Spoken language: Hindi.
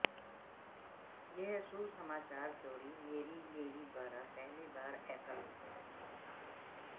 यह सुसमाचार जोड़ी मैरी मैरी द्वारा पहली बार एकल था